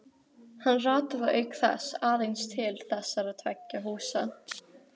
Hann rataði auk þess aðeins til þessara tveggja húsa.